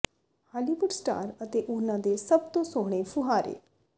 Hollywood star ਅਤੇ ਉਨ੍ਹਾਂ ਦੇ ਸਭ ਤੋਂ ਸੋਹਣੇ ਫੁਹਾਰੇ